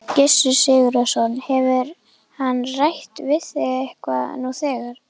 Gissur Sigurðsson: Hefur hann rætt við þig eitthvað nú þegar?